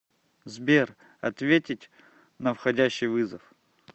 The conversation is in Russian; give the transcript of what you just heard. сбер ответить на входящий вызов